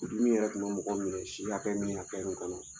O dun min yɛrɛ kun bɛ mɔgɔw minɛ si hakɛ min hakɛ min kɔnɔ.